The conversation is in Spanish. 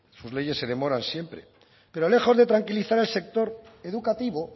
sus leyes se demoran siempre pero lejos de tranquilizar al sector educativo